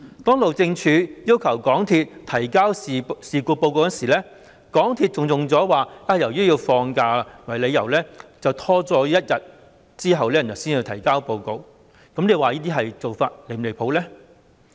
當路政署要求港鐵公司提交事故報告時，港鐵公司以"放假"為由，拖延一天才提交報告，這些做法是否離譜？